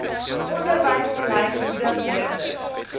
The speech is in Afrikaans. onderwysbeleid moedig leerders